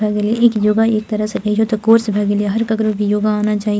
भाय गेल या एक योगा एक तरह से इहो कोर्स भा गेल या हर ककरो भी योगा आना चाही।